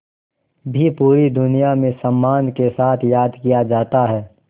भी पूरी दुनिया में सम्मान के साथ याद किया जाता है